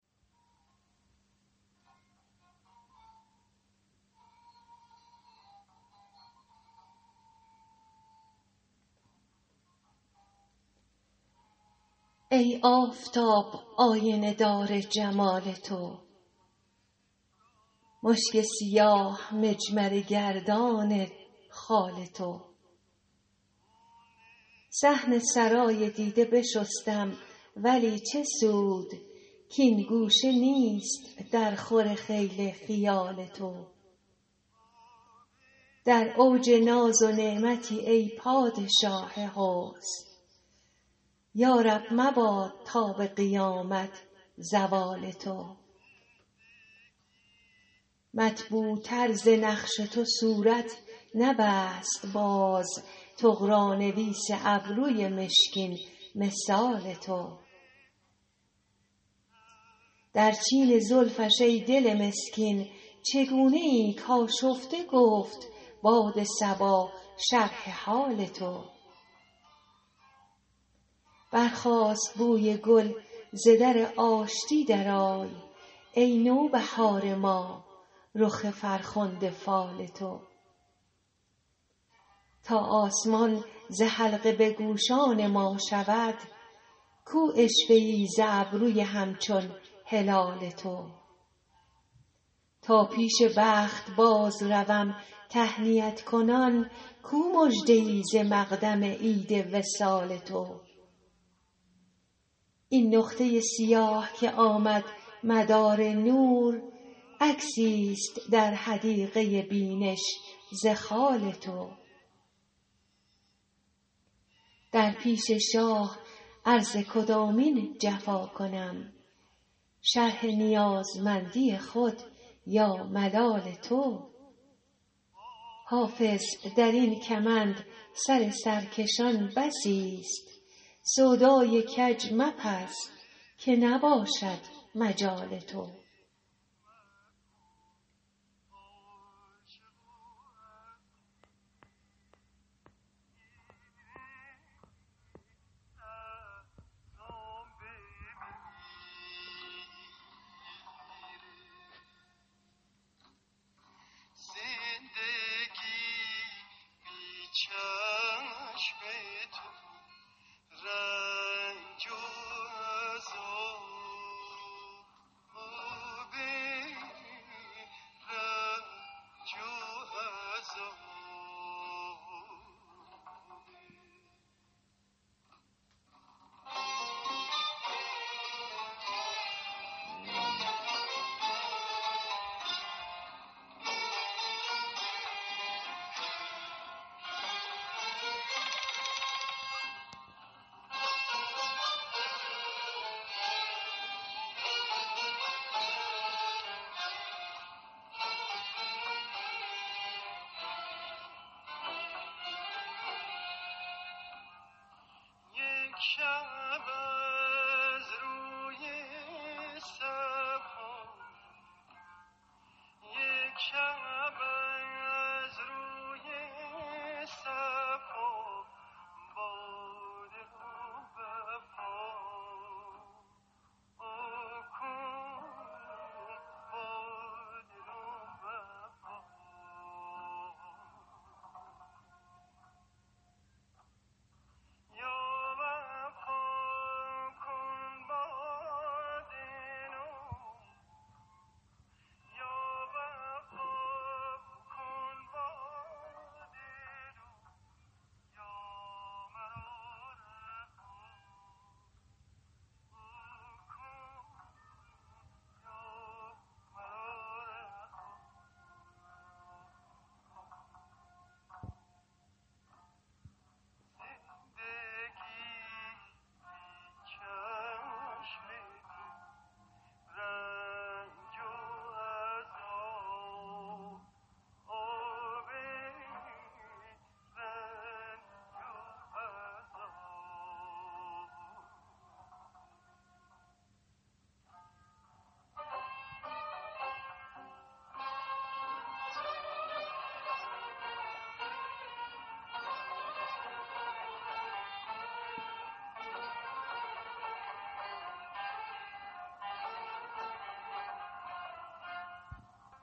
ای آفتاب آینه دار جمال تو مشک سیاه مجمره گردان خال تو صحن سرای دیده بشستم ولی چه سود کـ این گوشه نیست درخور خیل خیال تو در اوج ناز و نعمتی ای پادشاه حسن یا رب مباد تا به قیامت زوال تو مطبوعتر ز نقش تو صورت نبست باز طغرانویس ابروی مشکین مثال تو در چین زلفش ای دل مسکین چگونه ای کآشفته گفت باد صبا شرح حال تو برخاست بوی گل ز در آشتی درآی ای نوبهار ما رخ فرخنده فال تو تا آسمان ز حلقه به گوشان ما شود کو عشوه ای ز ابروی همچون هلال تو تا پیش بخت بازروم تهنیت کنان کو مژده ای ز مقدم عید وصال تو این نقطه سیاه که آمد مدار نور عکسیست در حدیقه بینش ز خال تو در پیش شاه عرض کدامین جفا کنم شرح نیازمندی خود یا ملال تو حافظ در این کمند سر سرکشان بسیست سودای کج مپز که نباشد مجال تو